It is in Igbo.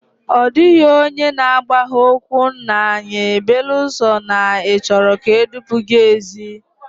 Ọ dịghị onye na agbagha ókwú nna anyi beelụ sọ na ị chọrọ ka edupu gị ézi